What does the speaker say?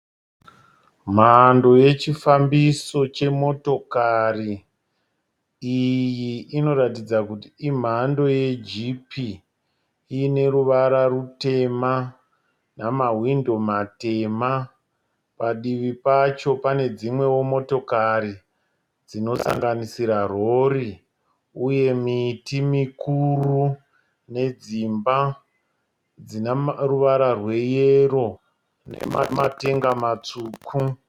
Mhando yechifambiso chemotokari. Iyi inoratidza kuti imhando yejipi iine ruvara rutema namawindo matema. Padivi pacho pane dzimwewo motokari dzinosanganisira rori uye miti mikuru nedzimba dzina ruvara rweyero nematenga matsvuku.